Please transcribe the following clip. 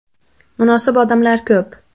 Munosib odamlar ko‘p.